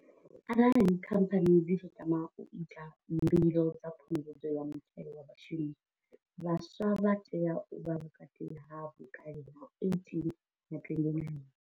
Arali Khamphani dzi tshi tama u ita mbilo dza Phungudzo ya Muthelo wa Vhashumi, vhaswa vha tea u vha vhukati ha vhukale ha 18 na 29.